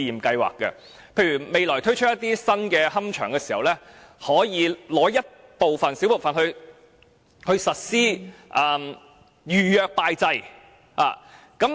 例如未來推出新龕場時，可以撥出一小部分地方實施預約拜祭。